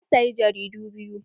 Na sayi jaridu biyu.